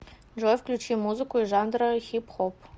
джой включи музыку из жанра хип хоп